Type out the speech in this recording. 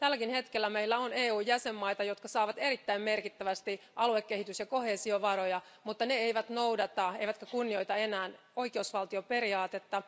Tälläkin hetkellä meillä on EUn jäsenvaltioita, jotka saavat erittäin merkittävästi aluekehitys ja koheesiovaroja, mutta ne eivät noudata, eivätkä kunnioita enää oikeusvaltioperiaatetta.